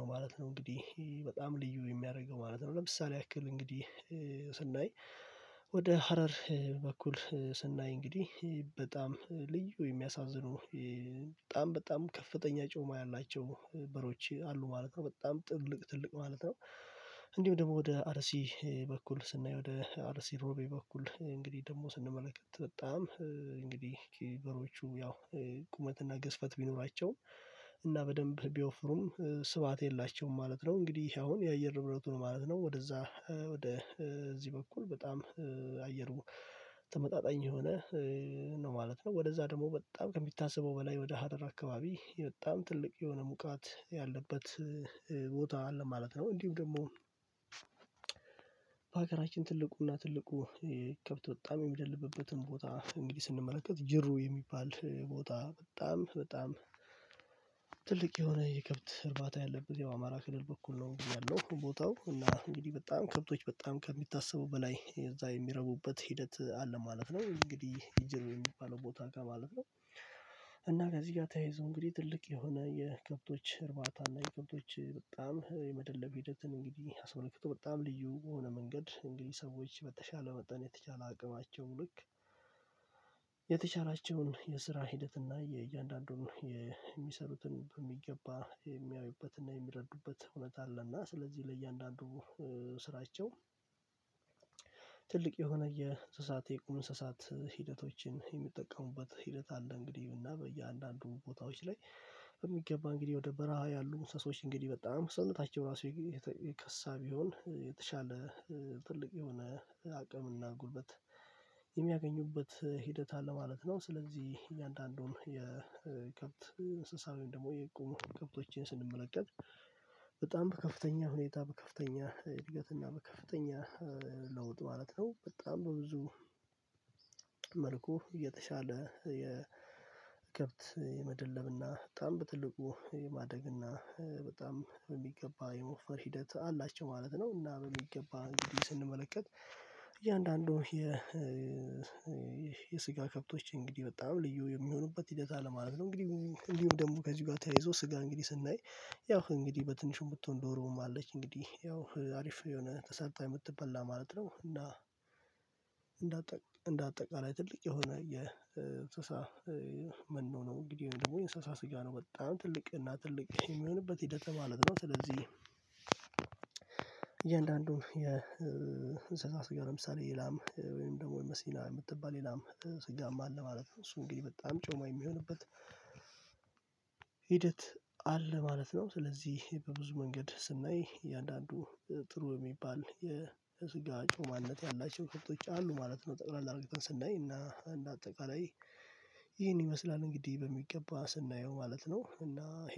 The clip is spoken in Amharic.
ነው ማለት ነው። እንግዲህ በጣም ልዩ የሚያደርገው ማለት ነው ለምሳሌ ያክል እንግዲህ ስናይ ወደ ሀረር በኩል ስናይ እንግዲህ በጣም ልዩ የሚያሳዝኑ በጣም በጣም ከፍተኛ ጮማ ያላቸው በሮች አሉ ማለት ነው በጣም ጥልቅ ትልቅ ማለት ነው። እንዲሁም ደግሞ ወደ አርሲ በኩል ስናይ ወደ አልሲሮቤ በኩል እንግዲህ ደግሞ ስንመለከት በጣም እንግዲህ በሬዎቹ ያው ቁመትና ግዝፈት ቢኖራቸው እና በደንብ ቢወፍሩም ስብሃት የላቸውም ማለት ነው። እንግዲህ አሁን የአየር ርብረቱ ነው ማለት ነው። ወደዛ ወደ እዚህ በኩል በጣም አየሩ ተመጣጣኝ የሆነ ነው ማለት ነው። ወደዛ ደግሞ በጣም ከሚታሰበው በላይ ወደ ሀረር አካባቢ በጣም ትልቅ የሆነ ሙቃት ያለበት ቦታ አለ ማለት ነው። እንዲሁ ደግሞ በሀገራችን ትልቁና ትልቁ ከብት በጣም የሚደልበትን ቦታ እንግዲህ ስንመለከት ጅሩ የሚባል ቦታ በጣም በጣም ትልቅ የሆነ የገብት እርባታ ያለበት የአማራ ክልል በኩል ነው ያለው ቦታው እና እንግዲህ በጣም ከብቶች በጣም ከሚታሰቡ በላይ የዛ የሚረቡበት ሂደት አለ ማለት ነው። እንግዲህ የጀርብብ የሚባለው ቦታ ጋር ማለት ነው። እና ከዚህ ጋር ተያይዞ እንግዲህ ትልቅ የሆነ የከብቶች እርባታና የክብቶች በጣም የመደለብ ሂደትን እንግዲህ አስመልክቶ በጣም ልዩ የሆነ መንገድ እንግዲህ ሰዎች በተሻለ መጠን የተቻለ አቅማቸው ልክ የተቻላቸውን የስራ ሂደት እና የእያንዳንዱን የሚሰሩትን በሚገባ የሚያዩበትና የሚረዱበት እውነት አለ። እና ስለዚህ ለእያንዳንዱ ስራቸው ትልቅ የሆነ የእንስሳት የእንስሳት ሂደቶችን የሚጠቀሙበት ሂደት አለ። እንግዲህ እና በእያንዳንዱ ቦታዎች ላይ በሚገባ እንግዲህ ወደ በረሃ ያሉ እንስሶች እንግዲህ በጣም ሰውነታቸው ራሱ የከሳ ቢሆን የተሻለ ትልቅ የሆነ አቅምና ጉልበት የሚያገኙበት ሂደት አለ ማለት ነው። ስለዚህ እያንዳንዱን የከብት እንስሳ ወይ ደግሞ የቆሙ ከብቶችን ስንመለከት በጣም በከፍተኛ ሁኔታ በከፍተኛ እድገት እና በከፍተኛ ለውጥ ማለት ነው። በጣም በብዙ መልኩ እየተሻለ የከብት የመደለብና በጣም በትልቁ የማደግና በጣም በሚገባ የመወፈር ሂደት አላቸው ማለት ነው። እና በሚገባ እንግዲህ ስንመለከት እያንዳንዱ የ የስጋ ከብቶች እንግዲህ በጣም ልዩ የሚሆኑበት ሂደት አለ ማለት ነው። እንግዲህ እንዲሁም ደግሞ ከዚህ ጋር ተያይዞ ስጋ እንግዲህ ስናይ ያው እንግዲህ በትንሹ የምትሆን ዶሮም አለች እንግዲህ ያው አሪፍ የሆነ ተሰርታ የምትበላ ማለት ነው። እና እንደ እንደ አጠቃላይ ትልቅ የሆነ የእንስሳ መኖ ነው እንግዲህ ደግሞ የእንስሳ ስጋ ነው በጣም ትልቅ እና ትልቅ የሚሆንበት ሂደት ማለት ነው። ስለዚህ እያንዳንዱን የእንስሳት ጋር ለምሳሌ የላም ወይም ደግሞ የመሲና የምትባል የላም ስጋም አለ ማለት ነው። እሱ እንግዲህ በጣም ጮማ የሚሆንበት ሂደት አለ ማለት ነው። ስለዚህ በብዙ መንገድ ስናይ እያንዳንዱ ጥሩ የሚባል የስጋ ጮማነት ያላቸው ከብቶች አሉ ማለት ነው። ጠቅላላ አርግተን ስናይ እና እንደ አጠቃላይ ይህን ይመስላል እንግዲህ በሚገባ ስናየው ማለት ነው። እና